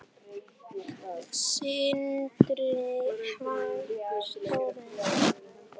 Sindri: Hvað stóran?